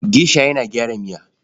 Gesha yana gyara miya.